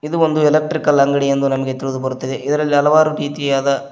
ಇದು ಒಂದು ಎಲೆಕ್ಟ್ರಿಕಲ್ ಅಂಗಡಿ ಎಂದು ನಮಗೆ ತಿಳಿದು ಬರುತ್ತದೆ ಇದರಲ್ಲಿ ಹಲವಾರು ರೀತಿಯಾದ--